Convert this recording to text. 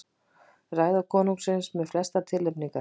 Ræða konungsins með flestar tilnefningar